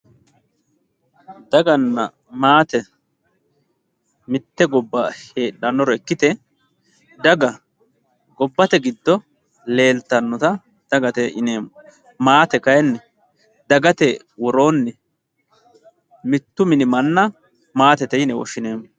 daganna maate mitte gobbara heedhannore ikkite daga gobbate giddo leeltannota dagate yineemmo maate kayiinni dagate woroonni mittu mini manna maatete yine woshshineemmo